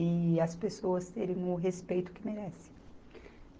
e as pessoas terem o respeito que merecem.